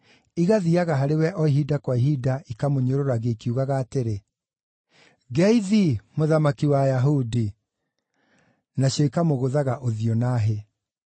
igathiiaga harĩ we o ihinda kwa ihinda, ikamũnyũrũragia ikiugaga atĩrĩ, “Ngeithi, mũthamaki wa Ayahudi!” Nacio ikamũgũthaga ũthiũ na hĩ.